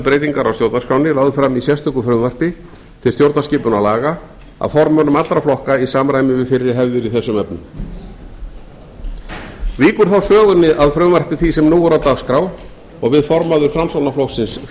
breytingar á stjórnarskránni lögð fram í sérstöku frumvarpi til stjórnarskipunarlaga af formönnum allra flokka í samræmi við fyrri hefðir í þessum efnum víkur þá sögunni að frumvarpi því sem nú er á dagskrá og við formaður framsóknarflokksins flytjum